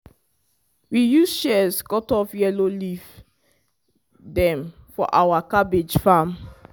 we use shears cut off yellow leaf dem for our cabbage farm.